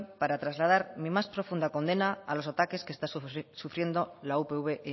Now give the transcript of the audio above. para trasladar mi más profunda condena a los ataques que está sufriendo la upv